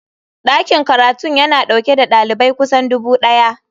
Dakin karatun yana dauke da dalibai kusan dubu daya.